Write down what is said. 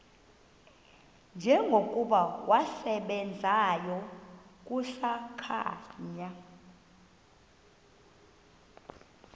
njengokuba wasebenzayo kusakhanya